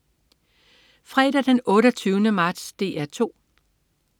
Fredag den 28. marts - DR 2: